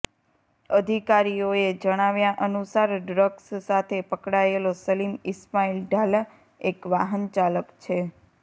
અઘિકારીઓએ જણાવ્યા અનુસાર ડ્રગ્સ સાથે પકડાયેલો સલીમ ઈસ્માઈલ ઢાલા એક વાહન ચાલક છે